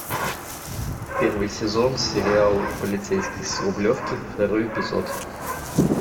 первый сезон сериал полицейский с рублевки второй эпизод